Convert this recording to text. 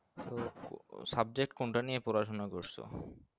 তো subject কোন টা নিয়ে পড়াশোনা করসো?